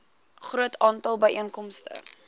groot aantal byeenkomste